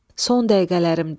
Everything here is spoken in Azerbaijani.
Son dəqiqələrimdir.